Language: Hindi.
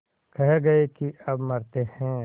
कह गये के अब मरते हैं